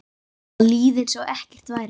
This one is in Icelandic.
Að líða einsog ekkert væri.